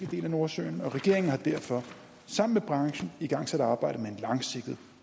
del af nordsøen og regeringen har derfor sammen med branchen igangsat arbejdet med en langsigtet